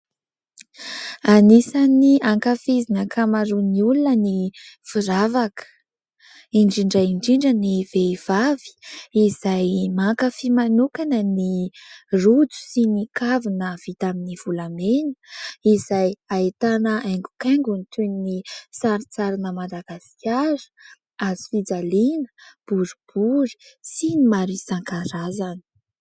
Anisany ankafiziny ankamaroan'ny olona ny firavaka ; indrindra indrindra ny vehivavy izay mankafy manokana ny rojo sy ny kavina, vita amin'ny volamena izay ahitana haingo-kaingony toy ny saritsarina madagasikara, hazofijaliana boribory sy ny maro isankarazany.